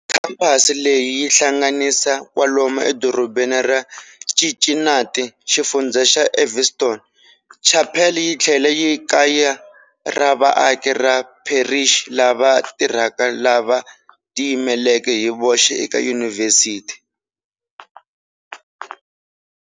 Khamphasi leyi yi hlanganisa kwalomu eDorobeni ra Cincinnati, xifundzha xa Evanston. Chapel yitlhela yi kaya ra vaaki va pherixi lava tirhaka lava tiyimeleke hi voxe eka yunivhesiti.